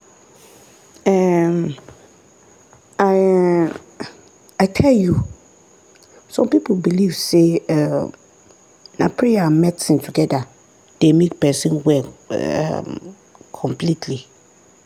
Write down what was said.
um i um i tell you! some people believe say um na prayer and medicine together dey make person well um completely